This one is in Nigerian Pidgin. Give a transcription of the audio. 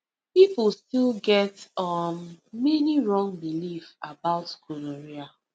people still get um many wrong belief about gonorrhea